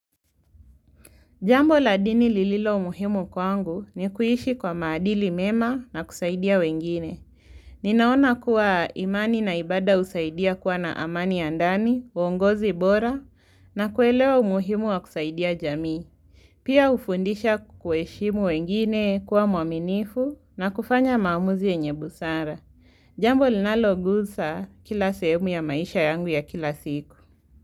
Jambo la dini lililo muhimu kwangu nikuishi kwa maadili mema na kusaidia wengine. Ninaona kuwa imani na ibada husaidia kuwa na amani ya ndani, uwongozi bora na kuelewa umuhimu wa kusaidia jamii. Pia hufundisha kuheshimu wengine kuwa mwaminifu na kufanya maamuzi yenye busara. Jambo linalogusa kila sehemu ya maisha yangu ya kila siku.